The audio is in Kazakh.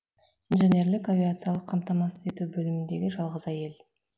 инженерлік авиациялық қамтамасыз ету бөліміндегі жалғыз әйел